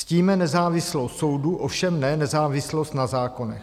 Ctíme nezávislost soudu, ovšem ne nezávislost na zákonech.